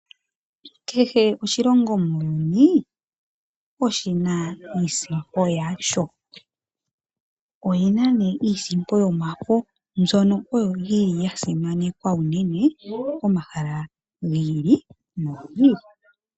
Kehe oshilongo muuyuni oshina iisimpo yasho, oyina nee iisimpo yomafo mbyono yili oyo yasimanekwa unene pomahala gi ili no gi ili.